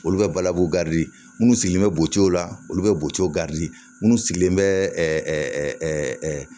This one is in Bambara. Olu bɛ balawu minnu sigilen bɛ buteliw la olu bɛ bɔco minnu sigilen bɛ ɛɛ